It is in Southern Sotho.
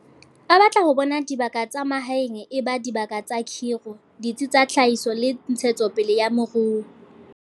A batla ho bona dibaka tsa mahaeng e ba dibaka tsa kgiro, ditsi tsa tlhahiso le ntshetso pele ya moruo.